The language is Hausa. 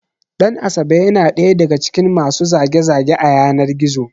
Ɗan asabe ya na ɗaya daga cikin masu zage- zage a yanar Gizo